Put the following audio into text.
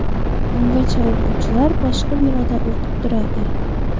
Ungacha o‘quvchilar boshqa binoda o‘qib turadi.